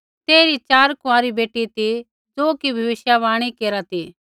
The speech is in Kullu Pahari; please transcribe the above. तेइरी च़ार कुँआरी बेटी ती ज़ो कि भविष्यवाणी केरा ती